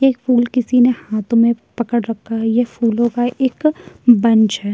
एक फूल किसी ने हाथो में पकड़ रखा हैं ये फूलों का एक बंच हैं।